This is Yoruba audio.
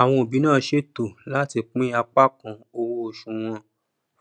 àwọn òbí náà ṣètò láti pín apá kan owó oṣù wọn